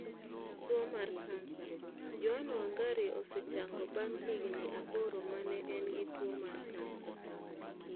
Tuwo mar kansa: Joan Wangari osechango bang' higini aboro ma ne en gi tuwo mar kansa